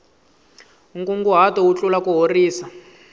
nkunguhato wu tlula kuhorisa